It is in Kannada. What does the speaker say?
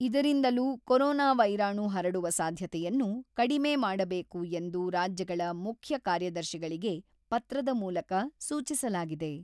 ಇದರಿಂದಲೂ ಕೊರೊನಾ ವೈರಾಣು ಹರಡುವ ಸಾಧ್ಯತೆಯನ್ನು ಕಡಿಮೆ ಮಾಡಬೇಕು ಎಂದು ರಾಜ್ಯಗಳ ಮುಖ್ಯ ಕಾರ್ಯದರ್ಶಿಗಳಿಗೆ ಪತ್ರದ ಮೂಲಕ ಸೂಚಿಸಲಾಗಿದೆ.